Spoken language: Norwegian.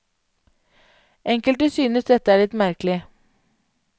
Enkelte synes dette er litt merkelig.